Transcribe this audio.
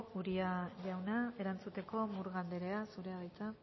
uria jauna erantzuteko murga anderea zurea da hitza